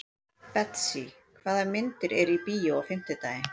Betsý, hvaða myndir eru í bíó á fimmtudaginn?